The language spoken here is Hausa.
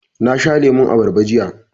Na sha lemun abarba jiya.